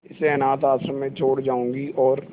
इसे अनाथ आश्रम में छोड़ जाऊंगी और